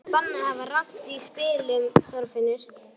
Það er bannað að hafa rangt við í spilum, Þorfinnur.